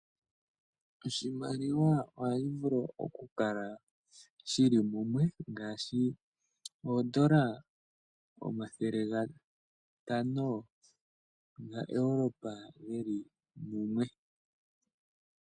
Oshimaliwa ohayi vulu okukala shili mumwe ngaashi oodola omathele gatano gaEuropa geli mumwe.